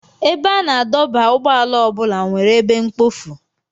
Ebe a na-adọba ụgbọala ọ bụla nwere ebe mkpofu.